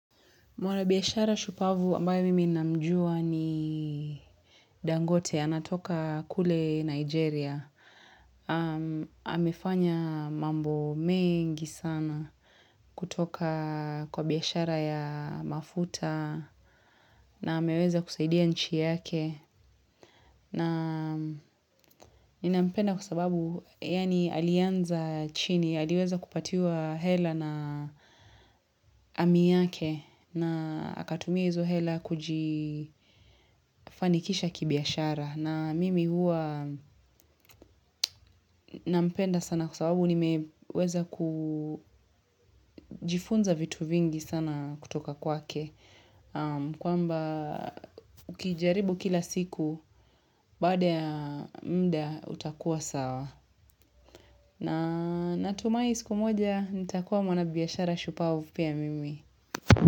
Mwana biashara shupavu ambayo mimi namjua ni Dangote anatoka kule Nigeria. Amefanya mambo mengi sana kutoka kwa biashara ya mafuta na ameweza kusaidia nchi yake. Na nina mpenda kwa sababu yani alianza chini, aliweza kupatiwa hela na ami yake na akatumia hizo hela kujifanikisha kibiashara. Na mimi hua nina mpenda sana kwa sababu nimeweza kujifunza vitu vingi sana kutoka kwake. Kwamba ukijaribu kila siku, baada ya muda utakua sawa. Na natumai siku moja nitakuwa mwana biashara shupawu pia mimi.